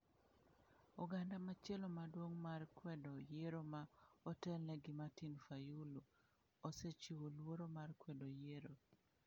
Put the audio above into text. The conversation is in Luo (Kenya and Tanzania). Oganda machielo maduong' mar kwedo yiero ma otelne gi Martin Fayulu osechiwo luoro mar kwedo yiero.